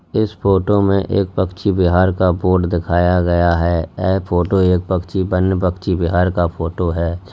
इस फोटो में एक पक्षी विहार का बोर्ड दिखाया गया है ए फोटो एक पक्षी वन पक्षी विहार का फोटो है।